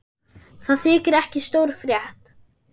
Það þykir ekki stór frétt.